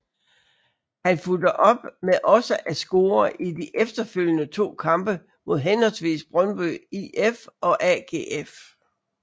Han fulgte op med også at score i de efterfølgende to kampe mod henholdsvis Brøndby IF og AGF